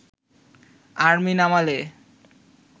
army নামালে